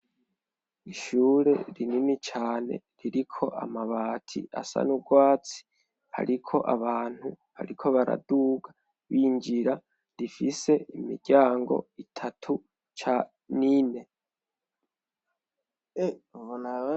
Ishure rinini cane, ririko amabati asa n' ugwatsi, hariko abantu bariko baraduga, binjira rifise imiryango itatu ca nine.